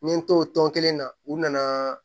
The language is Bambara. N ye n to o tɔn kelen na u nana